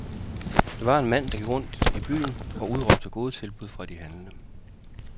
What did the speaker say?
Det var en mand, der gik rundt i byen og udråbte gode tilbud fra de handlende.